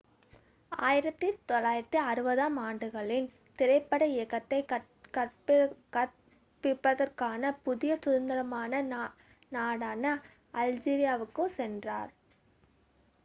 1960-ஆம் ஆண்டுகளில் திரைப்பட இயக்கத்தைக் கற்பிப்பதற்கான புதிய சுதந்திரமான நாடான அல்ஜீரியாவுக்குச் சென்றார்